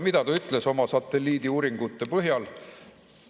Mida ta ütles oma satelliidiuuringute põhjal?